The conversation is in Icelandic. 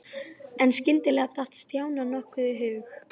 En skyndilega datt Stjána nokkuð í hug.